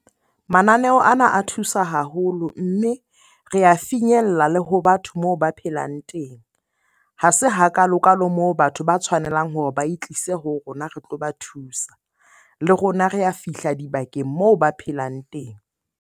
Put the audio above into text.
Mananeo ana a thusa haholo, mme re finyella le ho batho moo ba phelang teng. Ha se hakalo-kalo moo batho ba tshwanelang hore ba e tlise ho rona re tlo ba thusa. Le rona re a fihla dibakeng moo ba phelang teng.